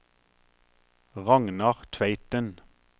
Ragnar Tveiten